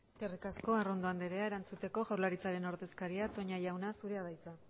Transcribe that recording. eskerrik asko arrondo anderea erantzuteko jaurlaritzaren ordezkaria toña jauna zurea da hitza